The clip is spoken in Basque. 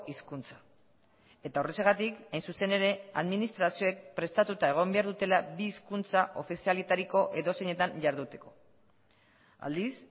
hizkuntza eta horrexegatik hain zuzen ere administrazioek prestatuta egon behar dutela bi hizkuntza ofizialetariko edozeinetan jarduteko aldiz